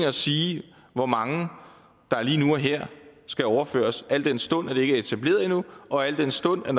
at sige hvor mange der lige nu og her skal overføres al den stund at det ikke er etableret endnu og al den stund at